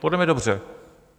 Podle mě dobře.